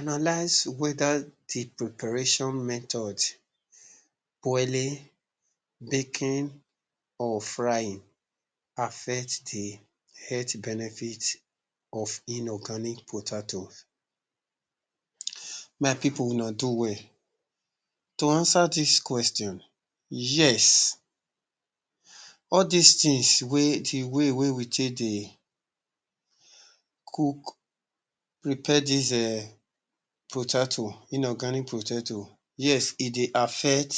Analyze whether dey preparation method- boiling, baking or frying affects dey health benefit of inorganic potatoe. My people una do well to answer dis question, yes all dis things, the way we take dey cook, prepare dis um potatoe, inorganic potaoe yes e dey affect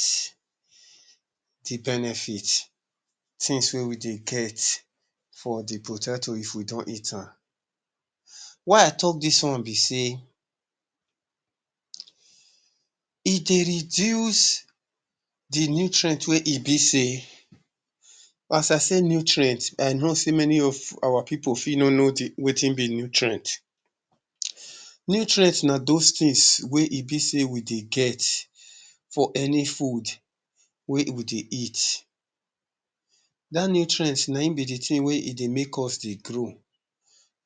dey benefit, things wey we dey get for dey potatoe if we don eat am. Why i talk dis wan be sey e dey reduce dey nutrient wey e be sey, as i say nutrient, i know sey many of our people fit no know wetin be nutrient. Nutrient na those things wey e be sey we dey get for any food wey we dey eat. Dat nutrient na im be the thing we e dey make us de grow,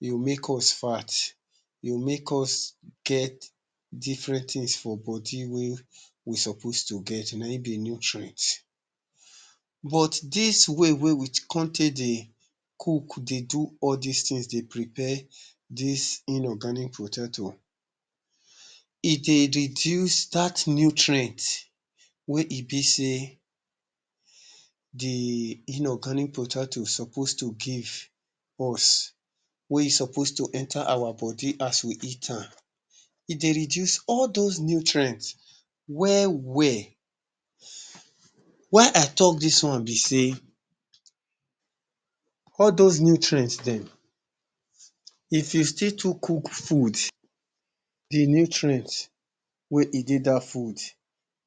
dey make us fat will make us get different things for body wey we suppose to get na im be nutrient. But dis way wey come take dey cook, dey do all dis things the prepare dis inorganic potatoe, e dey reduce dat nutrient wey e be sey dey inorganic potatoe suppose to give us, wey e suppose to enter our body as we eat am e dey reduce all those nutrients well well. why i talk dis wan be sey, all those nutrients dem if you still too cook food, dey nutrients wey e dey dat food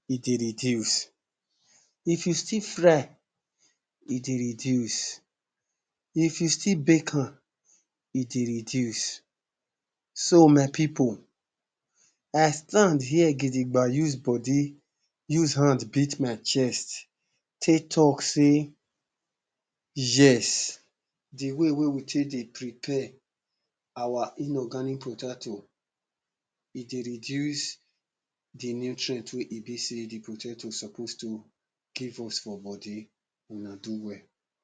e dey reduce, if you still fry e dey reduce, if you still bake am e dey reduce. So my people, i stand here gidigam use body, use hand beat my chest tey talk sey yes, the way wey we take dey prepare our inorganic potatoe e dey reduce dey nutrient wey e be sey dey potatoes suppose to give us for body. Una do well.